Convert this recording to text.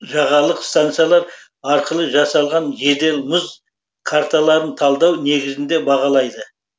жағалық стансалар арқылы жасалған жедел мұз карталарын талдау негізінде бағалайды